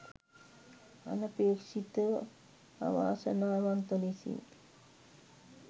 අනපේක්ෂිතව අවාසනාවන්ත ලෙසින්